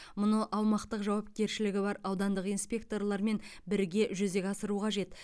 мұны аумақтық жауапкершілігі бар аудандық инспекторлармен бірге жүзеге асыру қажет